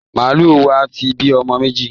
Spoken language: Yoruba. Màálù wa ti bí ọmọ méjì